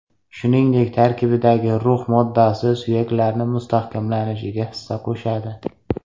Shuningdek, tarkibidagi rux moddasi suyaklarni mustahkamlanishiga hissa qo‘shadi.